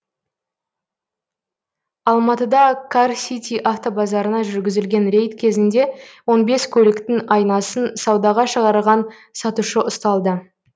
алматыда кар сити автобазарына жүргізілген рейд кезінде он бес көліктің айнасын саудаға шығарған сатушы ұсталды